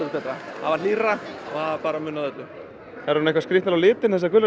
var hlýrra og það munaði öllu þær eru nú skrýtnar á litinn þessar gulrætur